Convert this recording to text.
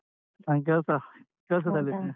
ನಾನ್ ಕೆಲ್ಸ ಕೆಲ್ಸದಲ್ಲಿ.